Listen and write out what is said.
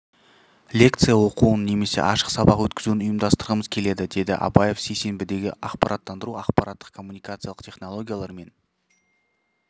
лекция оқуын немесе ашық сабақ өткізуін ұйымдастырғымыз келеді деді абаев сейсенбідегі ақпараттардыру ақпараттық коммуникациялық технологиялар мен